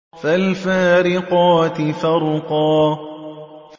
فَالْفَارِقَاتِ فَرْقًا